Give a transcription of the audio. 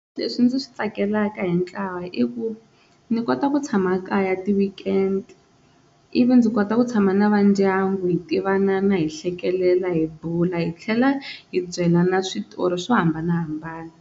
Leswi ndzi swi tsakelaka hi ntlawa i ku ni kota ku tshama kaya ti-weekend ivi ndzi kota ku tshama na va ndyangu hi tivana hi hlekelela hi bula hi tlhela hi byelana switori swo hambanahambana.